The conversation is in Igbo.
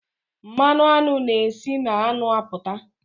Mmanụ aṅụ na e si na aṅụ apụta.